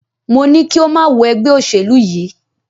Mo ní kí o má wọ ẹgbẹ́ òṣèlú yìí!